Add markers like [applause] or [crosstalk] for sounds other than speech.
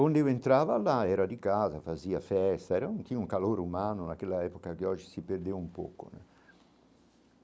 Onde eu entrava lá, era de casa, fazia festa, era [unintelligible] tinha um calor humano naquela época que hoje se perdeu um pouco né.